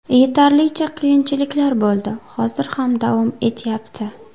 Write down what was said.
Yetarlicha qiyinchiliklar bo‘ldi, hozir ham davom etyapti.